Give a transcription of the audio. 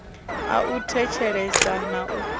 a u thetshelesa na u